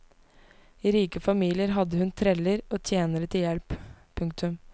I rike familier hadde hun treller og tjenere til hjelp. punktum